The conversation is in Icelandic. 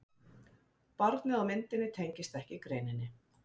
Barnið á myndinni tengist ekki greininni.